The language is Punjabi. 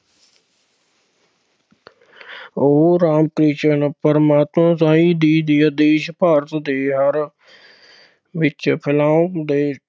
ਉਹ ਰਾਮ ਕ੍ਰਿਸ਼ਨ ਪਰਮਹੰਸ ਸਾਈਂ ਜੀ ਦੇ ਆਦੇਸ਼ ਭਾਰਤ ਦੇ ਹਰ ਵਿੱਚ ਫੈਲਾਉਣ ਦੇ